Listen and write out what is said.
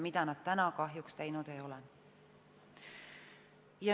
Seda nad kahjuks teinud ei ole.